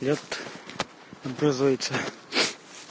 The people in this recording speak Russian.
вот образуется